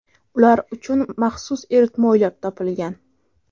Ular uchun maxsus eritma o‘ylab topilgan.